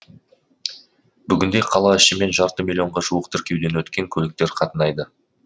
бүгінде қала ішімен жарты миллионға жуық тіркеуден өткен көліктер қатынайды